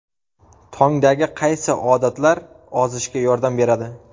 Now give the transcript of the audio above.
Tongdagi qaysi odatlar ozishga yordam beradi?.